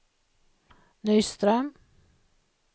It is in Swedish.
Nyström